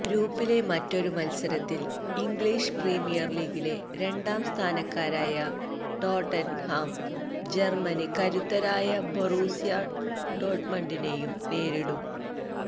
ഗ്രൂപ്പിലെ മറ്റൊരു മത്സരത്തില് ഇംഗ്ലീഷ് പ്രീമിയര് ലീഗിലെ രണ്ടാം സ്ഥാനക്കാരായ ടോട്ടന്ഹാം ജര്മ്മന് കരുത്തരായ ബൊറൂസ്യ ഡോട്മണ്ടിനേയും നേരിടും